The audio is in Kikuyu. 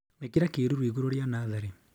Īkĩra kĩruru igũrũ rĩa natharĩ